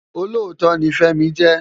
Ólótó ni Femi jè